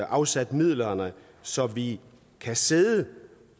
afsat midlerne så vi kan sidde